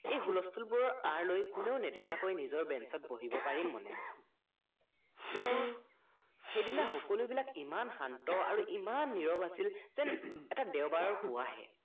এই হুলস্থুলবোৰৰ আঁৰ লৈ কোনেও নেখাকৈ নিজৰ banch ত বহিব পাৰিম মনে মনে কিন্তু সেইদিনা সকলোবিলাক ইমান শান্ত আৰু ইমান নিৰৱ আছিল যেন এটা দেওবাৰৰ পুৱাহে